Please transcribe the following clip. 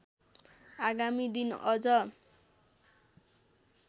आगामी दिन अझ